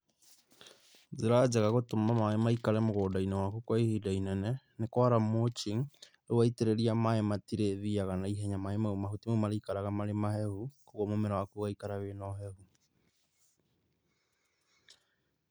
Njĩra njega gũtũma maĩ maikare mũgũndainĩ waku kwa ihinda inene nĩ kwara mulching, rĩu waitĩrĩria maĩ matirĩthiaga naihenya. Mahuti mau marĩikaraga marĩ mahehu, koguo mũmera waku ũgaikara wĩ na ũhehu.